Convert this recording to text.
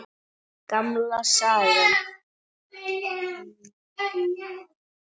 Gamla sagan.